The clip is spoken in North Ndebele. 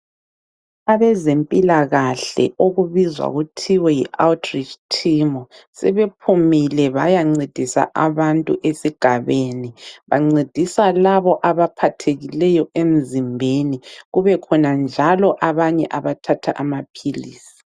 Abezempilakahle okubizwa kuthiwe yi outreach team sebephumile bayancedisa abantu esigabeni, bancedisa labo abaphathekileyo emzimbeni kube khona njalo abanye abathatha amaphilisi.